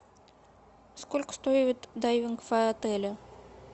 сколько стоит дайвинг в отеле